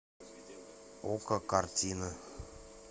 окко картина